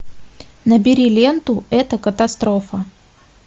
набери ленту это катастрофа